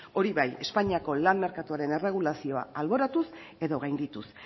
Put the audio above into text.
hori bai espainiako lan merkatuaren erregulazioa alboratuz edo gaindituz